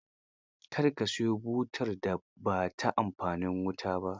Kar ka siyo butar da ba ta amfani da wuta.